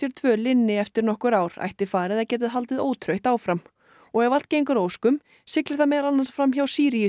tveggja linni eftir nokkur ár ætti farið að geta haldið áfram og ef allt gengur að óskum siglir það meðal annars fram hjá